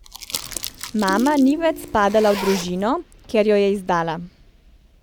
Mama ni več spadala v družino, ker jo je izdala.